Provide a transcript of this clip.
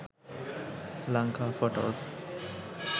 lanka photos